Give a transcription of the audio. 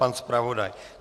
Pan zpravodaj?